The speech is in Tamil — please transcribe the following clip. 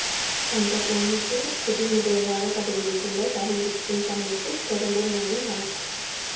பஞ்சாப் மாநிலத்தின் புதிய முதல்வராக பதவியேற்றுள்ள சரண்ஜீத் சிங் சன்னிக்கு பிரதமர் மோடி வாழ்த்து